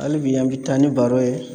Hali bi an bɛ taa ni baro ye